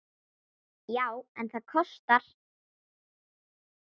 Já, en það kostar!